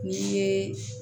N'i ye